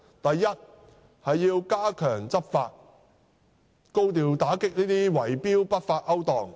第一，政府必須加強執法，高調打擊圍標的不法勾當。